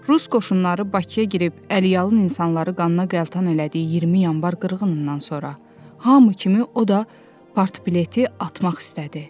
Rus qoşunları Bakıya girib əliyalın insanları qanına qəltan elədiyi 20 Yanvar qırğınından sonra, hamı kimi o da partbileti atmaq istədi.